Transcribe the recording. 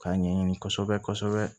K'a ɲɛɲini kosɛbɛ kosɛbɛ